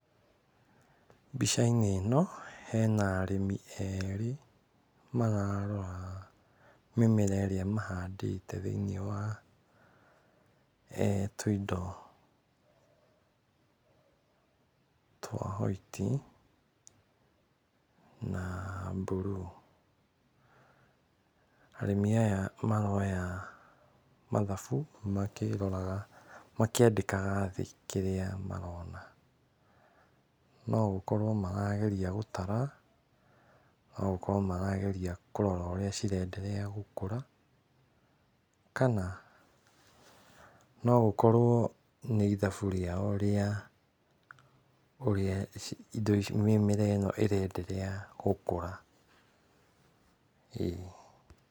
Mbica-inĩ ĩno hena arĩmi erĩ mararora mĩmera ĩrĩa mahandĩte thĩiniĩ wa tũindo twa white na mburuu, arĩmi aya maroya mathabu makĩroraga makĩandĩkaga thĩ kĩrĩa marona no gũkorwo marageria gũtara, no gũkorwo marageria kũrarora ũrĩa cirenderea gũkũra kana no gũkorwo nĩ ithabu rĩao rĩa ũrĩa indo ici mĩmera ĩno ĩrenderea gũkũra, ĩĩ